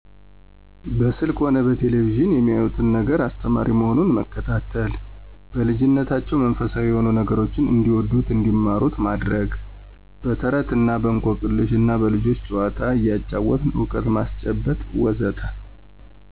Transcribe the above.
በስልክ ሆነ በቴሌቪዥን የሚያዩት ነገር አስተማሪ መሆኑን መከታተል። በልጂነታቸው መንፈሳዊ የሆኑ ነገሮችን እንዲወዱት እንዲማሩት ማድረግ። በተረት እና በእንቆቅልሽ እና በልጆች ጨዋታ እያጫወትን እውቀት ማስጨበጥ.. ወዘተ